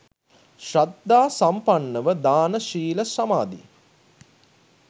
ශ්‍රද්ධා සම්පන්නව දාන, ශීල, සමාධි,